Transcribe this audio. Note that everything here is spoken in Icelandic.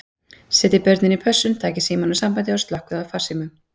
Setjið börnin í pössun, takið símann úr sambandi og slökkvið á farsímunum.